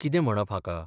कितें म्हणप हाका?